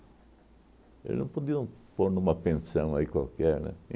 Eles não podiam pôr numa pensão aí qualquer, né?